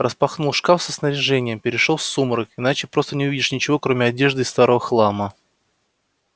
распахнул шкаф со снаряжением перешёл в сумрак иначе просто не увидишь ничего кроме одежды и старого хлама